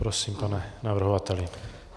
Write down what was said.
Prosím, pane navrhovateli.